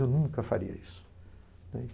Eu nunca faria isso.